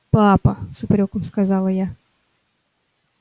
папа с упрёком сказала я